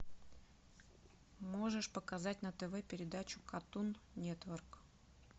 можешь показать на тв передачу картун нетворк